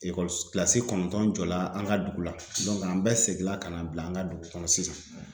kilasi kɔnɔntɔn jɔ la an ka dugu la an bɛɛ seginna ka na bila an ka dugu kɔnɔ sisan.